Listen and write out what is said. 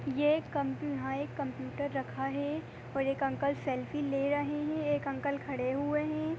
ये एक यहाँ एक कंप्यूटर रखा हुआ है और एक अंकल सेल्फी ले रहे है एक अंकल खड़े हुए है।